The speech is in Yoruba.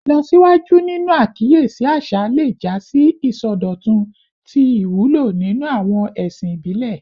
Ilọsiwaju ninu akiyesi aṣa le ja si isọdọtun ti iwulo ninu awọn ẹsin ibile